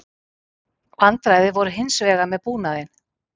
Vandræði voru hins vegar með búnaðinn